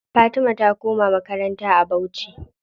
Fatima ta koma makaranta a bauchi.